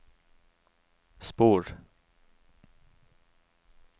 spor